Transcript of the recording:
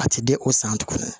A tɛ di o san tuguni